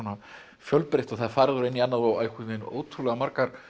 fjölbreytt og það er farið úr einu í annað og ótrúlega margar